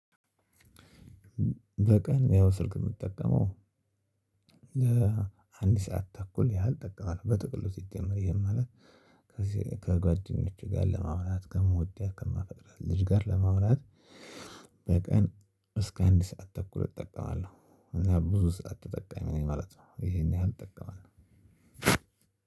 በቀን ያው ስልክ የምጠቀመው ለአንድ ሰዓት ተኩል ያህል እጠቀማለሁ። በጥቅሉ ሲጀመር ይሄም ማለት ከሴ ከጓደኞቼ ጋር ለማውራት ከምወዳት ከማፈቅራት ልጅ ጋር ለማውራት። በቀን እስከ አንድ ሰዓት ተኩል እጠቀማለሁ እና ብዙ ሰዓት ተጠቃሚ ነኝ ማለት ነው። ይሄን ያህል እጠቀማለው።